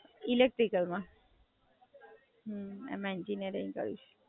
હાં, એ જ ને. બધા બહારથી પણ ભણવા આવે છે, એક્ચુઅલ્લી મારો ભાઈ છે એને અહિયાં આઈને એંજીન્યરિંગ કરેલું છે.